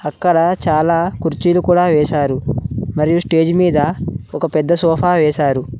ఇక్కడ చాలా కుర్చీలు కూడా వేశారు మరియు స్టేజి మీద ఒక పెద్ద సోఫా వేశారు.